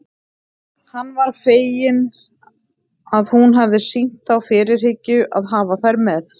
Hann var feginn að hún hafði sýnt þá fyrirhyggju að hafa þær með.